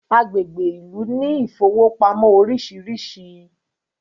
agbègbè Ilú ní Ilé ìfowópamọ́ orisirisi